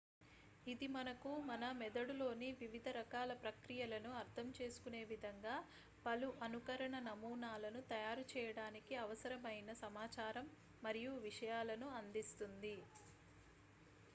ఇది మనకు మన మెదడులోని వివిధ రకరకాల ప్రక్రియలను అర్ధంచేసుకునే విధంగా పలు అనుకరణ నమూనాలను తయారు చేయడానికి అవసరమైన సమాచారం మరియు విషయాలను అందిస్తుంది